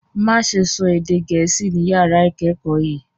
Má ṣe sọ èdè gẹ̀ẹ́sì ni yàrá ìkẹ́kọ̀ọ́ yìí